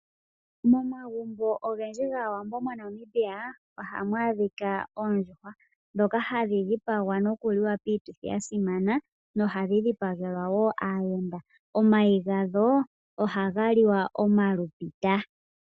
Momagumbo ogendji gaawambo moNamibia ohamu adhika oondjuhwa ndhoka hadhi dhipagwa nkuliwa piituthi yasimana na ohadhi dhipagelwa wo aayenda, omayi gadho ohaga liwa wo omalupita.